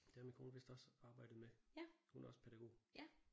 Det har min kone vist også arbejdet med. Hun er også pædagog